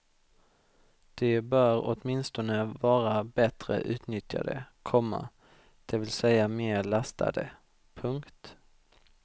De bör åtminstone vara bättre utnyttjade, komma det vill säga mer lastade. punkt